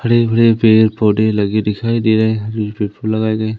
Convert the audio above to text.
हरे भरे पेड़ पौधे लगे दिखाई दे रहे --